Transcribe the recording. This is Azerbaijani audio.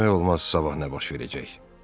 Hələ bilmək olmaz sabah nə baş verəcək.